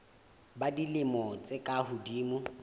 ba dilemo tse ka hodimo